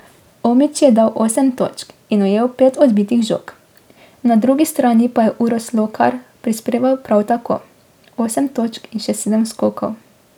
Omić je dal osem točk in ujel pet odbitih žog, na drugi strani pa je Uroš Slokar prispeval prav tako osem točk in še sedem skokov.